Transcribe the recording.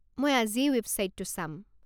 মই আজিয়েই ৱেবছাইটটো চাম।